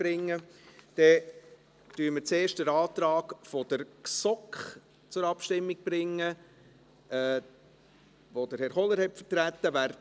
Wir bringen zuerst den Antrag der GSoK zur Abstimmung, den Herr Kohler vertreten hat.